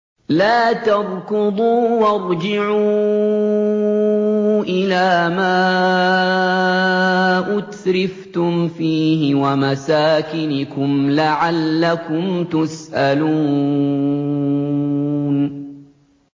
لَا تَرْكُضُوا وَارْجِعُوا إِلَىٰ مَا أُتْرِفْتُمْ فِيهِ وَمَسَاكِنِكُمْ لَعَلَّكُمْ تُسْأَلُونَ